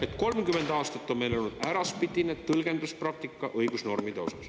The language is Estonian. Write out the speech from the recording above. … et 30 aastat on meil olnud äraspidine tõlgenduspraktika õigusnormide osas.